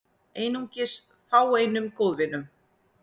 Einungis fáeinum góðvinum